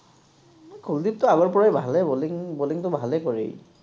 কুলদিপতো আগৰ পৰাই ভালেই বলিং, বলিং টো ভালেই কৰি ই